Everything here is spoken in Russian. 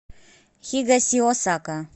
хигасиосака